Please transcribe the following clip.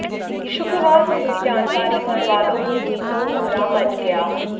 शुक्रवार को इसकी जानकारी घर वालो को हुई तो कोहराम मच गया